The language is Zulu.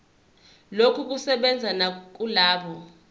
lokhu kusebenza nakulabo